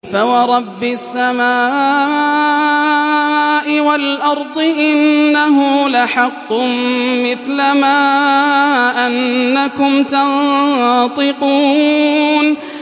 فَوَرَبِّ السَّمَاءِ وَالْأَرْضِ إِنَّهُ لَحَقٌّ مِّثْلَ مَا أَنَّكُمْ تَنطِقُونَ